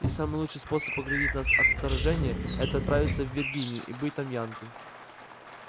и самый лучший способ оградить нас от вторжения это отправиться в виргинию и бить там янки